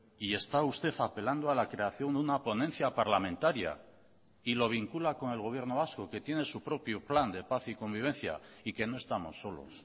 y está usted apelando a la creación una ponencia parlamentaria y lo vincula con el gobierno vasco que tiene su propio plan de paz y convivencia y que no estamos solos